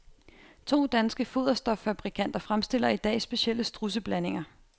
To danske foderstoffabrikanter fremstiller i dag specielle strudseblandinger.